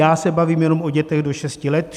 Já se bavím jenom o dětech do šesti let.